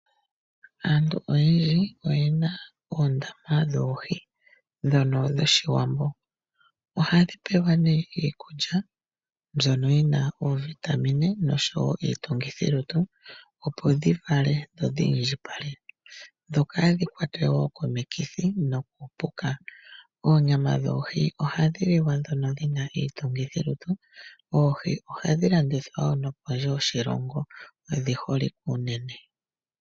Aantu oyendji oyena oondama dhoohi ndhono dho shiwambo. Oha dhipewa nee iikulya mbyono yina oovitamine noshowo iitungithilutu opo dhivale dhi indjipale dho kadhi kwatwe woo komikithi. Oonyama dhoohi ohadhi liwa nduno dhina iitungithilutu. Oohi ohadhi landithwa woo nokondje yoshilongo odhi holike unene.